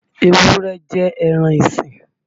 Ewúré jẹ́ ẹran isìn.